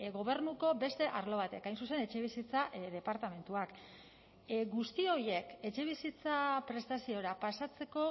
gobernuko beste arlo bat hain zuzen etxebizitza departamentuak guzti horiek etxebizitza prestaziora pasatzeko